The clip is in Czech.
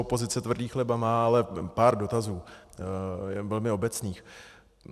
Opozice tvrdý chleba má, ale pár dotazů velmi obecných.